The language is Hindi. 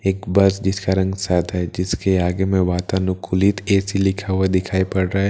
एक बस जिसका रंग सादा है जिसके आगे में वातानुकूलित ए_सी लिखा हुआ दिखाई पड़ रहा है।